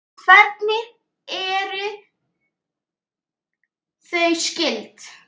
Hvernig eru þau skyld?